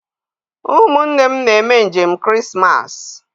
Ụmụnne m na-eme njem Krismas.